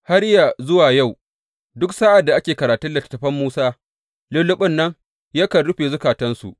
Har yă zuwa yau, duk sa’ad da ake karatun littattafan Musa, lulluɓin nan yakan rufe zukatansu.